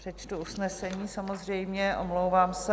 Přečtu usnesení, samozřejmě, omlouvám se.